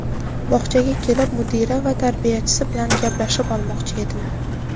Bog‘chaga kelib mudira va tarbiyachisi bilan gaplashib olmoqchi edim.